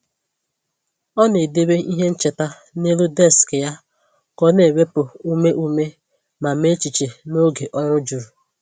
Ọ na-edebe ihe ncheta n’elu deskị ya ka ọ na-ewepụ ume ume ma mee echiche n’oge ọrụ juru.